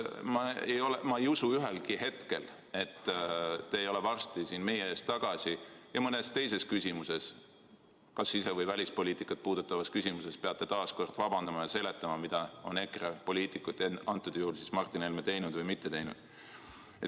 Ma ei usu ühelgi hetkel, et te ei ole varsti siin meie ees tagasi mõnes teises küsimuses – kas sise- või välispoliitikat puudutavas küsimuses – ja peate taas kord vabandama ja seletama, mida on EKRE poliitikud, antud juhul Martin Helme teinud või mitte teinud.